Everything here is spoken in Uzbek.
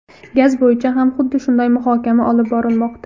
Gaz bo‘yicha ham xuddi shunday muhokama olib borilmoqda.